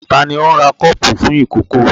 Ta ni ó ń ra kọ́ọ́pù fún ìkókó?